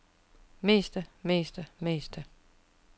meste meste meste